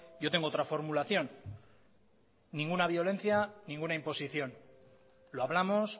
yo tengo otra formulación ninguna violencia ninguna imposición lo hablamos